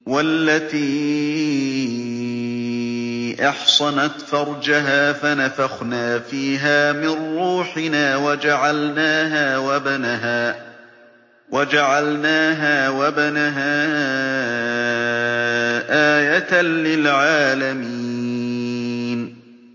وَالَّتِي أَحْصَنَتْ فَرْجَهَا فَنَفَخْنَا فِيهَا مِن رُّوحِنَا وَجَعَلْنَاهَا وَابْنَهَا آيَةً لِّلْعَالَمِينَ